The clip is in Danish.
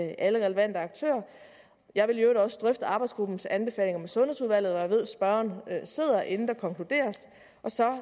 alle relevante aktører jeg vil i øvrigt også drøfte arbejdsgruppens anbefalinger med sundhedsudvalget hvor jeg ved at spørgeren sidder inden der konkluderes og så